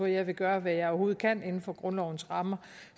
jeg vil gøre hvad jeg overhovedet kan inden for grundlovens rammer